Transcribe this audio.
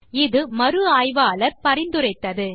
இதைத்தான் மறு ஆய்வாளர் பரிந்துரைத்தார்